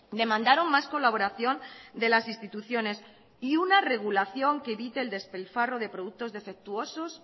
demandaron más colaboración de las instituciones y una regulación que evite el despilfarro de productos defectuosos